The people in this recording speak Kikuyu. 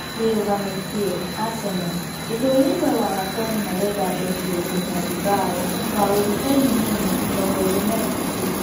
(wĩrugamĩtie) Aseno, Ithũwiro na Watoni marenda mbeki wa Ihenya Bimbao wa ũthibeini Mune, mĩrongoĩrĩ na ĩtatu.